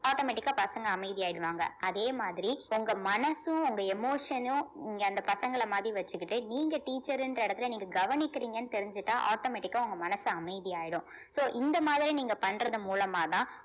automatic ஆ பசங்க அமைதியாயிடுவாங்க அதே மாதிரி உங்க மனசும் உங்க emotion னும் நீங்க அந்த பசங்கள மாதிரி வச்சுக்கிட்டு நீங்க teacher ன்ற இடத்துல நீங்க கவனிக்கிறீங்கன்னு தெரிஞ்சிட்டா automatic ஆ உங்க மனசு அமைதியாயிடும் so இந்த மாதிரி நீங்க பண்றது மூலமாதான்